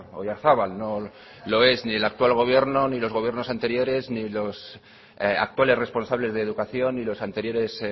oyarzabal no lo es ni el actual gobierno ni los gobiernos anteriores ni los actuales responsables de educación y los anteriores